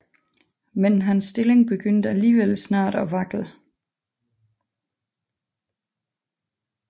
Men hans stilling begyndte alligevel snart at vakle